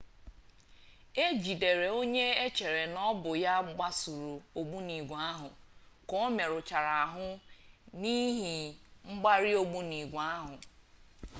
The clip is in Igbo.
ejidere onye echere na ọbụ ya gbasuru ogbunigwe ahụ ka omerụchara ahụ n'ihi mgbari ogbunigwe ahụ